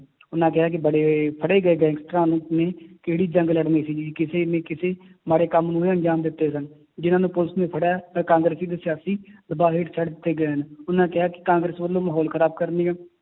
ਉਹਨਾਂ ਕਿਹਾ ਕਿ ਬੜੇ ਫੜੇ ਗਏ ਗੈਂਗਸਟਰਾਂ ਨੂੰ, ਨੇ ਕਿਹੜੀ ਜੰਗ ਲੜਨੀ ਸੀਗੀ ਕਿਸੇ ਨੇ ਕਿਸੇ ਮਾੜੇ ਕੰਮ ਨੂੰ ਹੀ ਅਨਜਾਮ ਦਿੱਤੇ ਸਨ, ਜਿੰਨਾਂ ਨੂੰ ਪੁਲਿਸ ਨੇ ਫੜਿਆ ਹੈ ਤੇ ਕਾਂਗਰਸੀ ਤੇ ਸਿਆਸੀ ਦਬਾਅ ਹੇਠ ਛੱਡ ਦਿੱਤੇ ਗਏ ਹਨ, ਉਹਨਾਂ ਕਿਹਾ ਕਿ ਕਾਂਗਰਸ ਵੱਲੋਂ ਮਾਹੌਲ ਖ਼ਰਾਬ ਕਰਨ ਦੀਆਂ